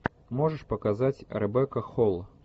можешь показать ребекка холл